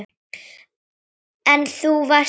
En þú varst alltaf þar.